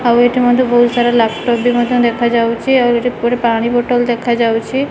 ଆଉ ଏଇଠି ମଧ୍ଯ ବହୁତ୍ ସାରା ଲାପଟପ୍ ବି ମଧ୍ୟ ଦେଖାଯାଉଚି ଆଉ ଏଠି ଗୋଟେ ପାଣି ବୋଟଲ୍ ଦେଖାଯାଉଚି।